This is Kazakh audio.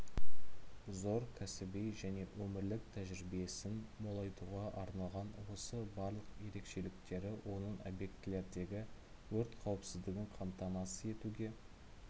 зор кәсіби және өмірлік тәжірибесін молайтуға арналған осы барлық ерекшеліктері оның объектілердегі өрт қауіпсіздігін қамтамасыз етуге